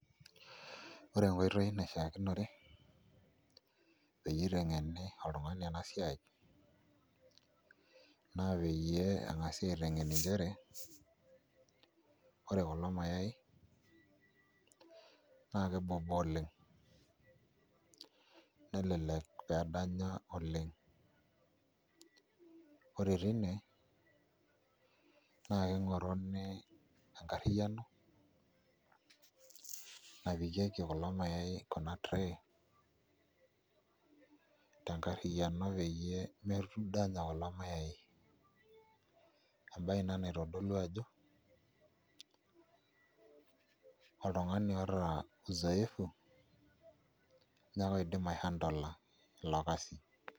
Ore enkoitoi naishiakinore peyie iteng'eni oltung'ani ena siai naa peyie eng'asi aiteng'en nchere ore kulo mayaai naa kebobo oleng' nelelek pee edanya oleng' ore tine naa king'oruni enkarriyiano napikieki kulo mayaai ena tray tenkarriyiano peyie medanya kulo mayaai embaye ina naitodolu ajo oltung'ani oota uzoefu ninye ake oidim aihandle ilo kasi.